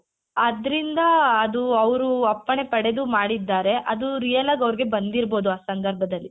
ಅದ್ರಿಂದ ಅದು ಅವ್ರು ಅಪ್ಪಣೆ ಪಡೆದು ಮಾಡಿದ್ದಾರೆ ಅದು real ಆಗ್ ಅವ್ರಿಗೆ ಬಂದಿರ್ಬೋದು ಆ ಸಂದರ್ಭದಲ್ಲಿ.